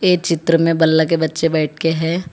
इस चित्र में बालके बच्चे बैठ के हैं।